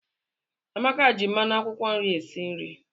Amaka ji mmanụ akwụkwọ nri esi nri